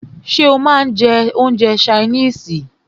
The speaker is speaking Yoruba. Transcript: Ṣé o máà ń jẹ́ oúnjẹ ṣaínìisì?